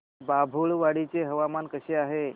बाभुळवाडी चे हवामान कसे आहे